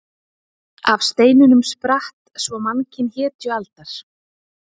Af steinunum spratt svo mannkyn hetjualdar.